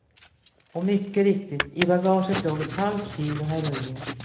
Och mycket riktigt, i bagaget låg ett halvt kilo heroin.